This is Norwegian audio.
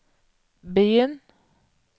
begynn